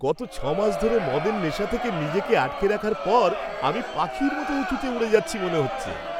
গত ছয় মাস ধরে মদের নেশা থেকে নিজেকে আটকে রাখার পর আমি পাখির মতো উঁচুতে উড়ে যাচ্ছি মনে হচ্ছে।